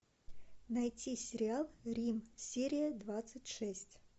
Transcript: найти сериал рим серия двадцать шесть